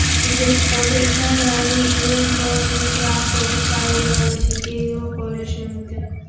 O‘zbekistonda Italiyaning Iveko mikroavtobuslari yig‘ilishi yo‘lga qo‘yilishi mumkin.